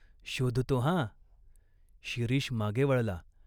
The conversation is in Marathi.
"शोधतो हा." शिरीष मागे वळला.